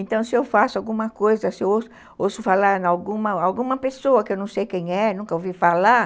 Então, se eu faço alguma coisa, se eu ouço falar em alguma alguma pessoa que eu não sei quem é, nunca ouvi falar,